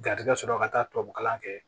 Garijɛgɛ sɔrɔ la ka taa tubabu kalan kɛ